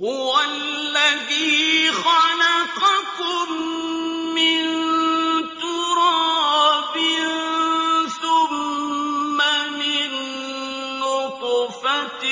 هُوَ الَّذِي خَلَقَكُم مِّن تُرَابٍ ثُمَّ مِن نُّطْفَةٍ